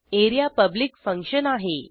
A R E A public function आहे